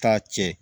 Taa cɛ